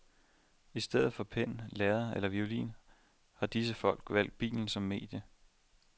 I stedet for pen, lærred eller violin har disse folk valgt bilen som medie.